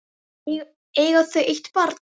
Eiga þau eitt barn.